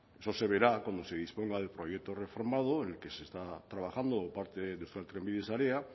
bueno eso se verá cuando se disponga del proyecto reformado en el que se está trabajando por parte de euskaltrenbide sarea